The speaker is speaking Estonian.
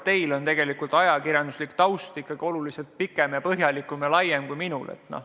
No teie ajakirjanduslik taust on ikkagi oluliselt tugevam ja laiem kui minul.